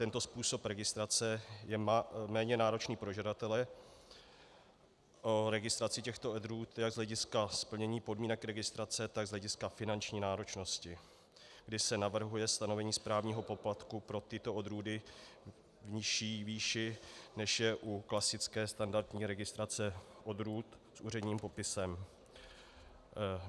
Tento způsob registrace je méně náročný pro žadatele o registraci těchto odrůd jak z hlediska splnění podmínek registrace, tak z hlediska finanční náročnosti, kdy se navrhuje stanovení správního poplatku pro tyto odrůdy v nižší výši, než je u klasické standardní registrace odrůd s úředním popisem.